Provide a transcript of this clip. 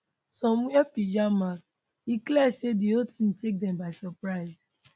some wear pyjamas e clear say di whole tink take dem by suprise